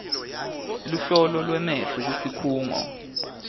luhlolo lwemehlo kusikhungo